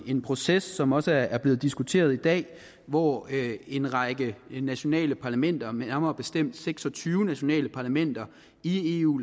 en proces som også blevet diskuteret i dag hvor en række nationale parlamenter nærmere bestemt seks og tyve nationale parlamenter i eu